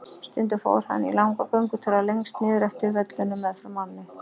Stundum fór hann í langa göngutúra lengst niður eftir völlunum meðfram ánni.